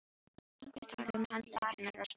Einhver taki um handlegg hennar og snúi henni við.